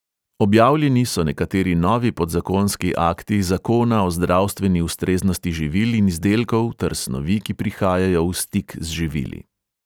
Objavljeni so nekateri novi podzakonski akti zakona o zdravstveni ustreznosti živil in izdelkov ter snovi, ki prihajajo v stik z živili.